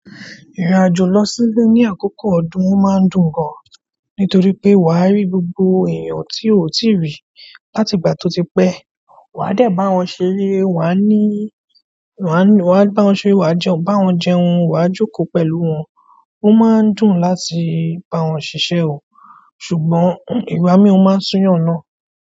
Ìrìn àjò lọ sí ile ní àkókò ọdún ò máa ń dùn gan, nítorí pé wà á rí gbogbo èèyàn tí o ti rí láti ìgbà tí ó ti pẹ́. Wà á dẹ bá wọn ṣeré, wà á níí, wà á bá wọn ṣeré, wà á jẹun bá wọn jẹun, wà á jókòó pẹ̀lú wọn. Ó máa ń dùn láti bá wọn ṣisẹ o, ṣùgbọ́n ìgbà míi o máa ń sùyan náà.